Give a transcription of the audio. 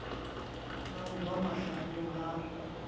ya ho ba mahlabeng ha